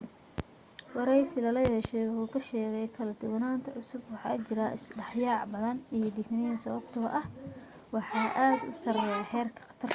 waraysi lala yeeshay wuxuu ku sheegay kala duwananta cusub waxaa jira is dhexyaac badan iyo digniin sababtoo ah waxaa aad u sareeya heerka khatarta